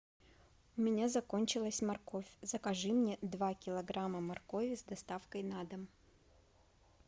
у меня закончилась морковь закажи мне два килограмма моркови с доставкой на дом